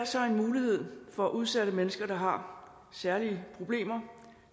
så en mulighed for udsatte mennesker der har særlige problemer